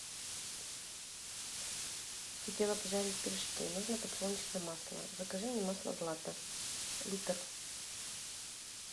хотела пожарить пирожки нужно подсолнечное масло закажи мне масло злато литр